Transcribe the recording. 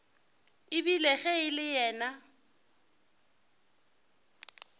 ebile ge e le yena